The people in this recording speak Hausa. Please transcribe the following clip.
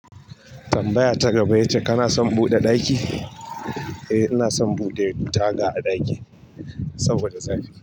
Tambaya ta gaba yace kana son buɗe ɗaki? Eh ina son buɗe taga a ɗaki saboda zafi.